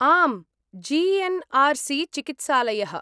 आम्, G N. R C. चिकित्सालयः।